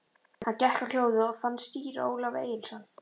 Hann gekk á hljóðið og fann síra Ólaf Egilsson.